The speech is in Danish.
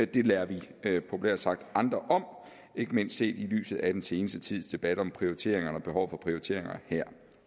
det lader vi populært sagt andre om ikke mindst set i lyset af den seneste tids debat om prioriteringerne og behovet for prioriteringer her